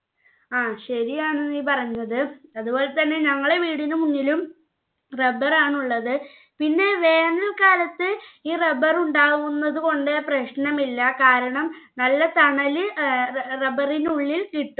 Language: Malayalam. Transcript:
ആ ശെരിയാണ് നീ പറഞ്ഞത് അതുപോലെതന്നെ ഞങ്ങളെ വീടിനു മുന്നിലും rubber ആണ് ഉള്ളത് പിന്നെ വേനൽ കാലത്ത്‌ ഈ rubber ഉണ്ടാവുന്നത് കൊണ്ട് പ്രശ്നമില്ല കാരണം നല്ല തണല് ഏർ rubber ഇനുള്ളിൽ കിട്ടും